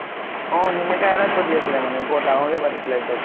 অ সেনেকা এটা চলি আছিলে মানে। বৰ ডাঙৰ কে পাতিছিলে এক্দম।